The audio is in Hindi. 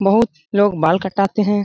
बहुत लोग बाल कटाते हैं।